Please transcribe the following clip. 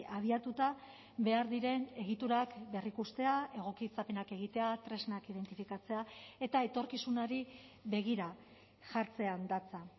abiatuta behar diren egiturak berrikustea egokitzapenak egitea tresnak identifikatzea eta etorkizunari begira jartzean datza